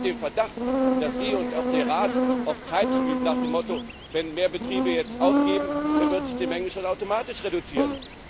Ich habe den Verdacht, dass Sie und auch der Rat auf Zeit spielten nach dem Motto Wenn mehr Betriebe jetzt aufgeben, dann wird sich die Menge schon automatisch reduzieren.